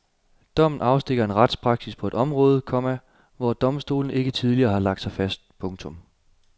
Dommen afstikker en retspraksis på et område, komma hvor domstolene ikke tidligere har lagt sig fast. punktum